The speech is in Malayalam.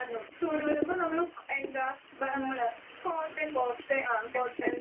ആഹ്. നമ്മള് കോട്ടൺ ആഹ് കോട്ടൺ